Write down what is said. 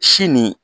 Si nin